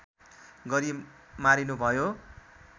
गरी मारिनुभयो